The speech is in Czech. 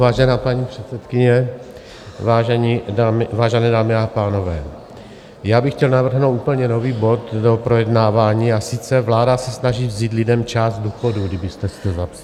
Vážená paní předsedkyně, vážené dámy a pánové, já bych chtěl navrhnout úplně nový bod do projednávání, a sice Vláda se snaží vzít lidem část důchodů, kdybyste si to zapsala.